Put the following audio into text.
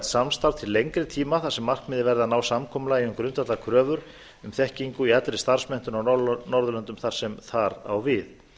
samstarf til lengri tíma þar sem markmiðið verði að ná samkomulagi um grundvallarkröfur um þekkingu í allri starfsmenntun á norðurlöndum þar sem það á við